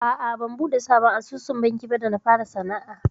A'a ban buɗe sabon asusun banki ba da na fara sana'a.